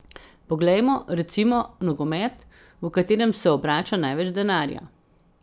Poglejmo, recimo, nogomet, v katerem se obrača največ denarja.